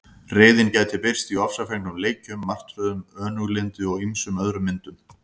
Reiðin gæti birst í ofsafengnum leikjum, martröðum, önuglyndi og ýmsum öðrum myndum.